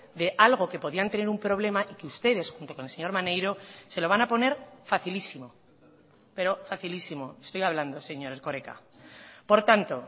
de algo que podían tener un problema y que ustedes junto con el señor maneiro se lo van a poner facilísimo pero facilísimo estoy hablando señor erkoreka por tanto